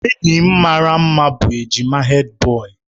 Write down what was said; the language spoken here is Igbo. Enyi m maara mma bụ ejima Hèdbọyi.